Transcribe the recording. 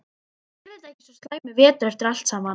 Kannski yrði þetta ekki svo slæmur vetur eftir allt saman.